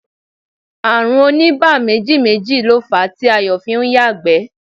Ààrùn onígbáméjì méjì ló fàá tí Ayọ̀ fi ń yàgbẹ́